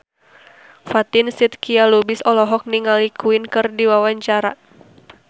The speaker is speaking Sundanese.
Fatin Shidqia Lubis olohok ningali Queen keur diwawancara